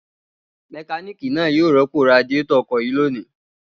Mẹkáníkì náà yóò rọ́pò radiátọ̀ ọkọ̀ yìí lónìí.